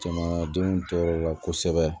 Jamanadenw tɔɔrɔ la kosɛbɛ